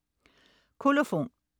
Kolofon